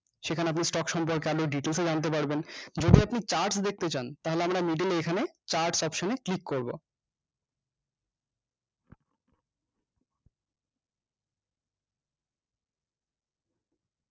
সেখানে আপনি stock সম্পর্কে আরো details এ জানতে পারবেন যদি আপনি chart দেখতে চান তাহলে আমরা middle এ এখানে chart option এ ক্লিক করবো